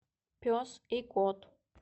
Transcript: пес и кот